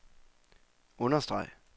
understreg